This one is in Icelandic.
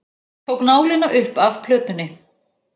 Tók nálina upp af plötunni.